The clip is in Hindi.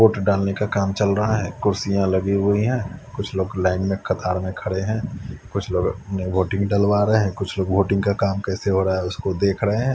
वोट डालने का काम चल रहा है कुर्सियां लगी हुई है कुछ लोग लाइन में कतार में खड़े है कुछ लोग अपने वोटिंग डलवा रहे है कुछ लोग वोटिंग का काम कैसे हो रहा है वो देख रहे है।